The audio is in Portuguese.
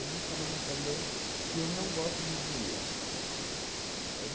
Eu vivo falando também que eu não gosto de dinheiro. É